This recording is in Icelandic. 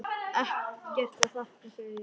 Ekkert að þakka, segi ég.